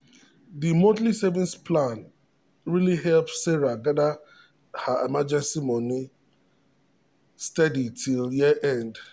the monthly savings plan really help sarah gather her emergency money steady till year end.